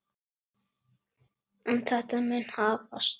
En þetta mun hafast.